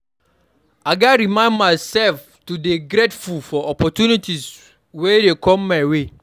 I gats remind myself to dey grateful for opportunities wey come my way.